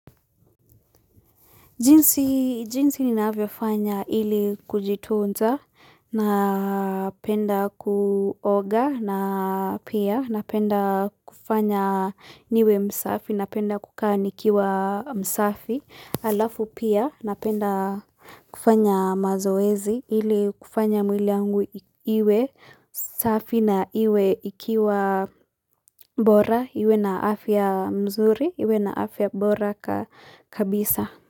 Jinsi ninavyo fanya ili kujitunza, napenda kuoga na pia napenda kufanya niwe msafi, napenda kukaa nikiwa msafi, halafu pia napenda kufanya mazoezi ili kufanya mwili yangu iwe safi na iwe ikiwa bora, iwe na afya mzuri, iwe na afya bora kabisa.